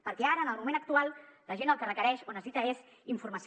perquè ara en el moment actual la gent el que requereix o necessita és informació